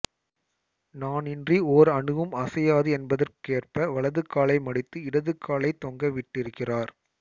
நானின்றி ஓர் அணுவும் அசையாது என்பதற்கேற்ப வலது காலை மடித்து இடது காலைத் தொங்கவிட்டிருக்கிறார்